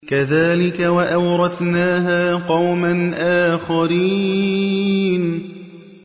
كَذَٰلِكَ ۖ وَأَوْرَثْنَاهَا قَوْمًا آخَرِينَ